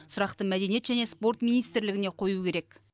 сұрақты мәдениет және спорт министрлігіне қою керек